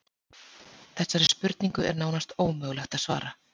Þessari spurningu er nánast ómögulegt að svara.